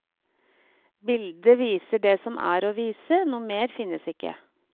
Bildet viser det som er å vise, noe mer finnes ikke.